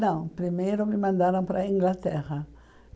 Não, primeiro me mandaram para a Inglaterra.